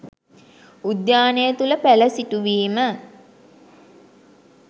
උද්‍යානය තුළ පැළ සිටුවීම